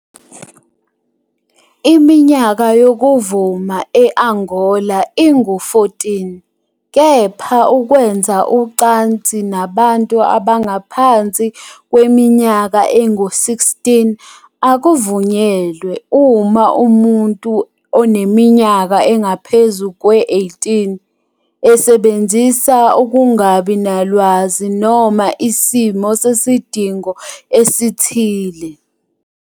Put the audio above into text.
Iminyaka yokuvuma e-Angola ingu- 14 kepha ukwenza ucansi nabantu abangaphansi kweminyaka engu-16 akuvunyelwe uma umuntu oneminyaka engaphezu kwengu-18 "esebenzisa ukungabi nalwazi noma isimo sesidingo esithile".